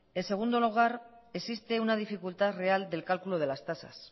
en segundo lugar existe una dificultad real del cálculo de las tasas